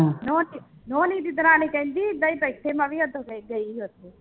ਨੋਣੀ ਨੋਣੀ ਦੀ ਦਰਾਣੀ ਕਹਿੰਦੀ ਮੈਂ ਉਦੋਂ ਗ ਗਈ ਸੀ ਉੱਥੇ